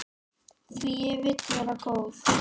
Því ég vil vera góð.